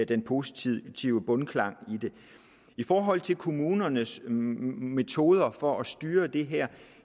den positive bundklang i forhold til kommunernes metoder for at styre det her